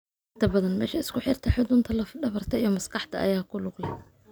Inta badan, meesha isku xirta xudunta laf dhabarta iyo maskaxda ayaa ku lug leh.